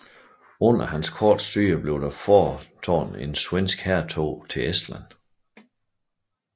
Under hans korte styre blev der foretaget et svensk hærtog til Estland